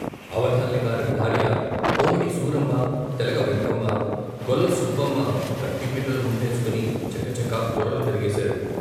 అవధాన్లి గారి భార్య, కోమటి సూరమ్మ, తెలగ వెంకమ్మ, గొల్ల సుబ్బమ్మ కత్తిపీటలు ముందేసుకుని చకచక కూరలు తరిగేశారు.